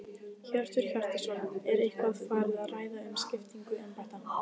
Hjörtur Hjartarson: Er eitthvað farið að ræða um skiptingu embætta?